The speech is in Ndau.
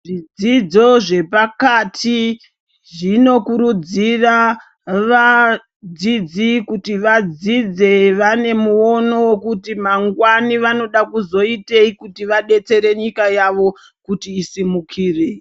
Zvidzidzo zvepakati zvinokurudzira kuti vadzidzi vadzidze vane muono wekuti mangwani vaone vanoda kuzoitei vadetsereke nyika yawo kuti isimukire.